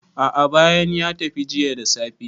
a`a bayanan ya tafi jiya da safe